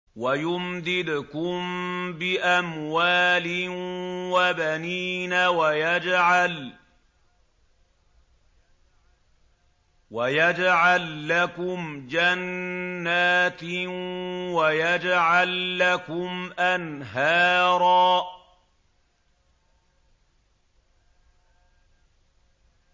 وَيُمْدِدْكُم بِأَمْوَالٍ وَبَنِينَ وَيَجْعَل لَّكُمْ جَنَّاتٍ وَيَجْعَل لَّكُمْ أَنْهَارًا